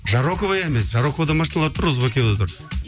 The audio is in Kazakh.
жарокова емес жароковада машиналар тұр розыбакиевада тұр